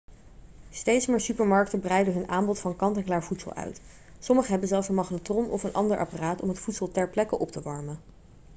steeds meer supermarkten breiden hun aanbod van kant-en-klaar voedsel uit sommige hebben zelfs een magnetron of een ander apparaat om het voedsel ter plekke op te warmen